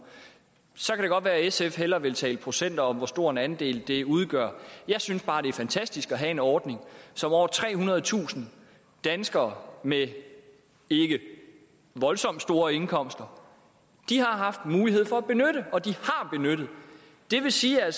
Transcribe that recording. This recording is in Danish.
så kan det godt være at sf hellere vil tale procenter og hvor stor en andel det så udgør jeg synes bare det er fantastisk at have en ordning som over trehundredetusind danskere med ikke voldsomt store indkomster har haft mulighed for at benytte og som de har benyttet det vil sige at